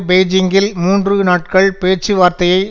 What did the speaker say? பெய்ஜிங்கில் மூன்று நாட்கள் பேச்சுவார்த்தையை